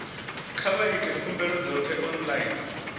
kha vha ite khumbelo dzoṱhe online